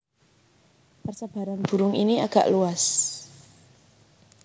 Persebaran burung ini agak luas